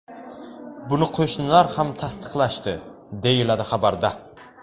Buni qo‘shnilar ham tasdiqlashdi”, deyiladi xabarda.